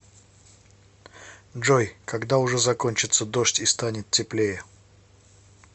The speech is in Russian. джой когда уже закончится дождь и станет теплее